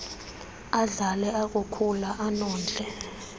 adlale akukhula anondle